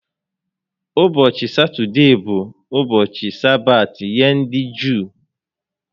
Ụbọchị Satọdee bụ ụbọchị Sabaat nye ndị Juu